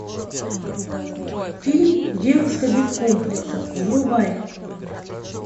фильм девушка без комплексов врубай